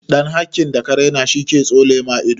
Ɗan hakin da ka raina shi ke tsole ma ido.